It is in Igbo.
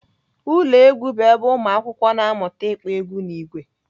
Ụlọ egwu bụ ebe ụmụakwụkwọ na-amụta ịkpọ egwu n'ìgwè